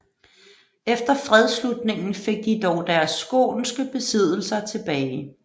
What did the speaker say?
Efter fredsslutningen fik de dog deres skånske besiddelser tilbage